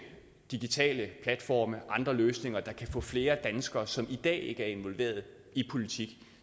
digitale platforme og andre løsninger der kan få flere danskere som i dag ikke er involveret i politik